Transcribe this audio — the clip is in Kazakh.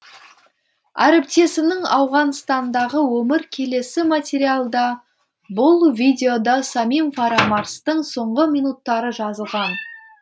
әріптесімнің ауғанстандағы өмірі келесі материалда бұл видеода самим фарамарзтың соңғы минуттары жазылған